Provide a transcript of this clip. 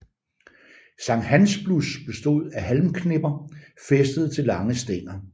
Sankthansblus bestod af halmknipper fæstet til lange stænger